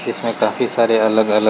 इसमें काफी सारे अलग-अलग--